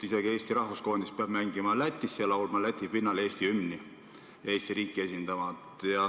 Isegi Eesti rahvuskoondis peab mängima Lätis ja laulma Läti pinnal Eesti hümni, Eesti riiki esindama.